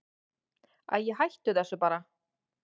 Æi, hættu þessu bara.